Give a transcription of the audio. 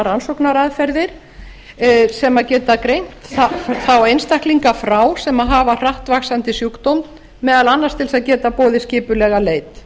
rannsóknaraðferðir sem geta greint þá einstaklinga frá sem hafa hratt vaxandi sjúkdóm meðal annars til þess að geta boðið skipulega leit